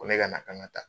Ko ne ka na k'an ka taa